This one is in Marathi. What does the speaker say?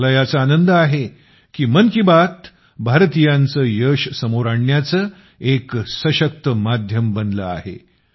मला याचा आनंद आहे की मन की बात भारतीयांचं यश समोर आणण्याचं एक सशक्त माध्यम बनलं आहे